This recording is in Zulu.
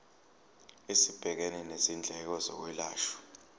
esibhekene nezindleko zokwelashwa